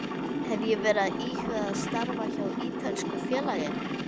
Hef ég verið að íhuga að starfa hjá ítölsku félagi?